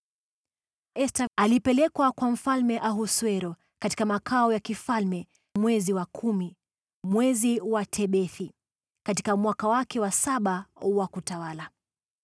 Esta alipelekwa kwa Mfalme Ahasuero katika makao ya mfalme mwezi wa kumi, yaani mwezi wa Tebethi, katika mwaka wake wa saba wa kutawala.